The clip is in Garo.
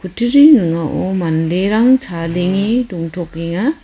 kutturi ning·ao manderang chadenge dongtokenga.